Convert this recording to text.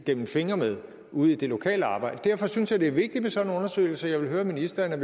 gennem fingre med ude i det lokale arbejde derfor synes jeg det er vigtigt med sådan en undersøgelse jeg vil høre ministeren